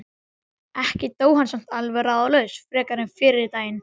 Ekki dó hann samt alveg ráðalaus frekar en fyrri daginn.